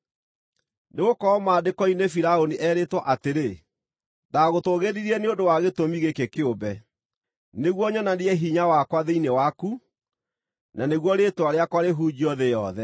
Nĩgũkorwo Maandĩko-inĩ Firaũni erĩtwo atĩrĩ: “Ndagũtũũgĩririe nĩ ũndũ wa gĩtũmi gĩkĩ kĩũmbe, nĩguo nyonanie hinya wakwa thĩinĩ waku, na nĩguo rĩĩtwa rĩakwa rĩhunjio thĩ yothe.”